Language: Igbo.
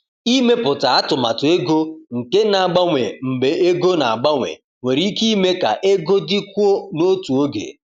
Ịmepụta atụmatụ ego nke na-agbanwe mgbe ego na-agbanwe nwere ike ime ka ego dịkwuo n’otu oge.